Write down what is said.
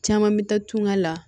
Caman mi taa tungan la